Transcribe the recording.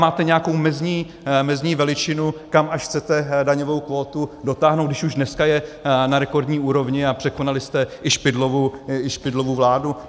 Máte nějakou mezní veličinu, kam až chcete daňovou kvótu dotáhnout, když už dneska je na rekordní úrovni a překonali jste i Špidlovu vládu?